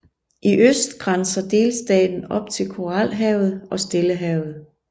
I øst grænser delstaten op til Koralhavet og Stillehavet